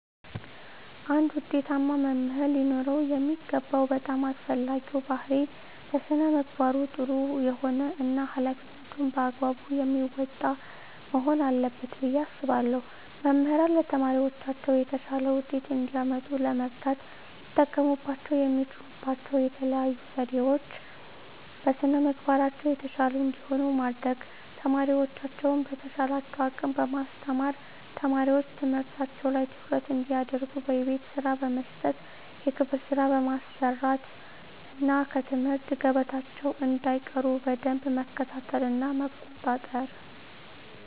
አንድ ውጤታማ መምህር ሊኖረው የሚገባው በጣም አስፈላጊው ባህሪይ በስነ ምግባሩ ጥሩ የሆነ እና ሀላፊነቱን በአግባቡ የሚወጣ መሆን አለበት ብየ አስባለሁ። መምህራን ለተማሪዎቻቸው የተሻለ ውጤት እንዲያመጡ ለመርዳት ሊጠቀሙባቸው የሚችሉባቸው የተለዩ ዘዴዎች - በስነ ምግባራቸው የተሻሉ እንዲሆኑ ማድረግ፣ ተማሪዎቻቸውን በተቻላቸው አቅም በማስተማር፣ ተማሪዎች ትምህርታቸው ላይ ትኩረት እንዲያደርጉ የቤት ስራ በመስጠት የክፍል ስራ በማሰራት እና ከትምህርት ገበታቸው እንዳይቀሩ በደንብ መከታተልና መቆጣጠር።